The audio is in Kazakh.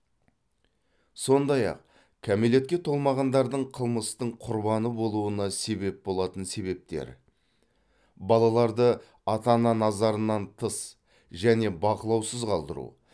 сондай ақ кәмелетке толмағандардың қылмыстың құрбаны болуына себеп болатын себептер балаларды ата ана назарынан тыс және бақылаусыз қалдыру